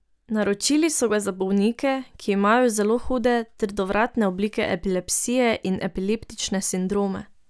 Naročili so ga za bolnike, ki imajo zelo hude, trdovratne oblike epilepsije in epileptične sindrome.